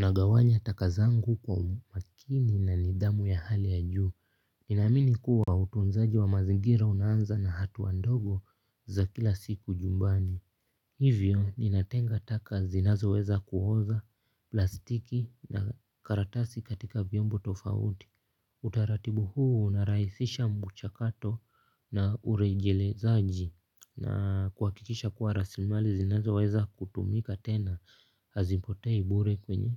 Na gawanya taka zangu kwa umakini na nidhamu ya hali ya juu. Nina amini kuwa utunzaji wa mazingira unaanza na hatua ndogo za kila siku nyumbani. Hivyo ninatenga taka zinazo weza kuoza plastiki na karatasi katika vyombo tofauti. Utaratibu huu unarahisisha mchakato na urejelezaji. Na kuhakikisha kuwa rasilimali zinazo weza kutumika tena hazipotei bure kwenye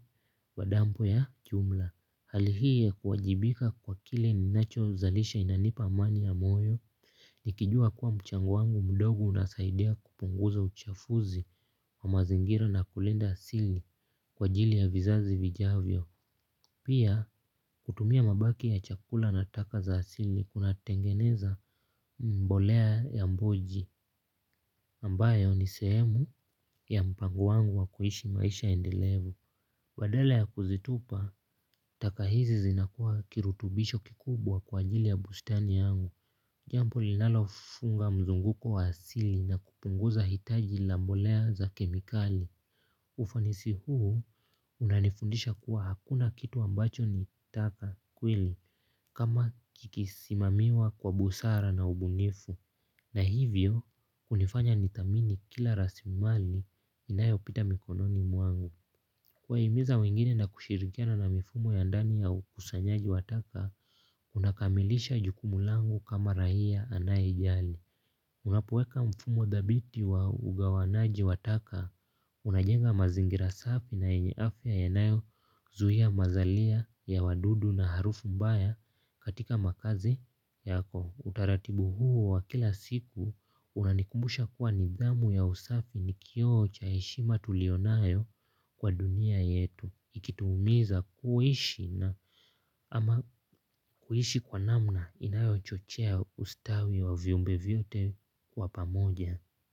madampu ya jumla. Hali hii ya kuwajibika kwa kile ninacho zalisha inanipa amani ya moyo. Nikijua kuwa mchango wangu mdogo unasaidia kupunguza uchafuzi kwa mazingira na kulinda asili kwa ajili ya vizazi vijavyo. Pia, kutumia mabaki ya chakula na taka za asili kuna tengeneza mbolea ya mbuji ambayo ni sehemu ya mpango wangu wa kuishi maisha endelevu. Badala ya kuzitupa, taka hizi zinakuwa kirutubisho kikubwa kwa ajili ya bustani yangu. Jambo, linalofunga mzunguko wa asili na kupunguza hitaji la mbolea za kemikali. Ufanisi huu unanifundisha kuwa hakuna kitu ambacho nitaka kweli kama kikisimamiwa kwa busara na ubunifu. Na hivyo hunifanya nidhamini kila rasilimali inayo pita mikononi mwangu kuwa himiza wengine na kushirikiana na mifumo ya ndani ya ukusanyaji wataka unakamilisha jukumu langu kama raia anayejali. Unapoweka mfumo dhabiti wa ugawanaji wa taka unajenga mazingira safi na yenye afya yanayo zuia mazalia ya wadudu na harufu mbaya katika makazi yako. Utaratibu huu wa kila siku unanikumbusha kuwa nidhamu ya usafi ni kio cha heshima tulio nayo kwa dunia yetu. Ikituumiza kuishi na ama kuishi kwa namna inayo chochea ustawi wa viumbe vyote wa pamoja.